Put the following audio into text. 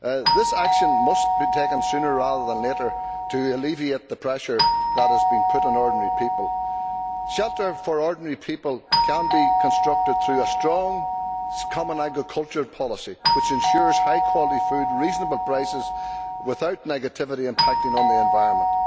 This action must be taken sooner rather than later to alleviate the pressure that has been put on ordinary people. Shelter for ordinary people can be constructed through a strong common agricultural policy which ensures high quality food at reasonable prices without negative impacts on the environment.